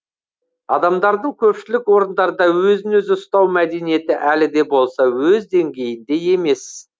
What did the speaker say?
адамдардың көпшілік орындарда өзін өзі ұстау мәдениеті әлі де болса өз деңгейінде емес